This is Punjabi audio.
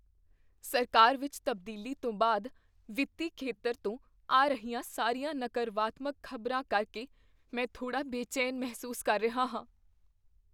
ਸਰਕਾਰ ਵਿੱਚ ਤਬਦੀਲੀ ਤੋਂ ਬਾਅਦ ਵਿੱਤੀ ਖੇਤਰ ਤੋਂ ਆ ਰਹੀਆਂ ਸਾਰੀਆਂ ਨਕਰਵਾਤਮਕ ਖ਼ਬਰਾਂ ਕਰਕੇ ਮੈਂ ਥੋੜ੍ਹਾ ਬੇਚੈਨ ਮਹਿਸੂਸ ਕਰ ਰਿਹਾ ਹਾਂ।